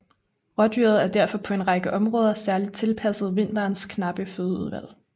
Rådyret er derfor på en række områder særligt tilpasset vinterens knappe fødeudvalg